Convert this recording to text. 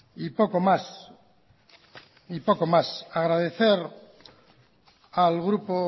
poco más agradecer al grupo